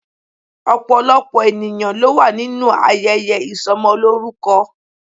Opolopo eniyan lo wa ninu ayeye isomoloruko